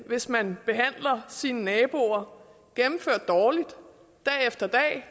hvis man behandler sine naboer gennemført dårligt dag efter dag